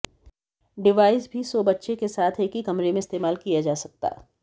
device भी सो बच्चे के साथ एक ही कमरे में इस्तेमाल किया जा सकता